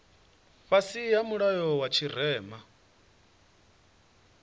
fhasi ha mulayo wa tshirema